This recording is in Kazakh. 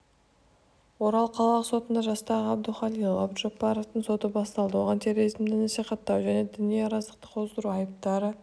орал қалалық сотында жастағы абдухалил абдужаббаровтың соты басталды оған терроризмді насихаттау және діни араздықты қоздыру айыптары